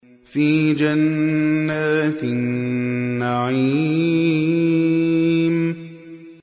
فِي جَنَّاتِ النَّعِيمِ